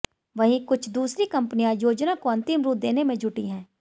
वहीं कुछ दूसरी कंपनियां योजना को अंतिम रूप देने में जुटी हैं